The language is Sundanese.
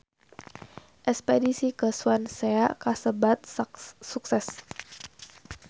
Espedisi ka Swansea kasebat sukses